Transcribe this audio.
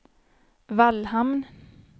Vallhamn